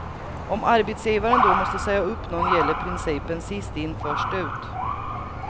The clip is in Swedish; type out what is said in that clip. Om arbetsgivaren då måste säga upp någon gäller principen sist in först ut.